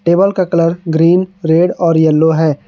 Table का colour green red और yellow है।